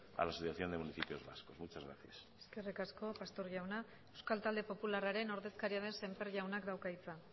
a la asociación de municipios vascos muchas gracias eskerrik asko pastor jauna euskal talde popularraren ordezkaria den semper jaunak dauka hitza